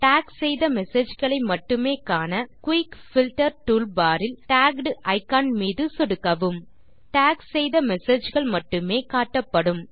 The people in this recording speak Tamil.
டாக் செய்த messageகளை மட்டுமே காண குயிக் பில்ட்டர் டூல்பார் இல் டேக்ட் இக்கான் மீது சொடுக்கவும் டாக் செய்த messageகள் மட்டுமே காட்டப்படும்